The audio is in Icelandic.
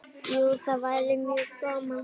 Jú, það væri mjög gaman.